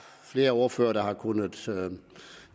flere ordførere der har kunnet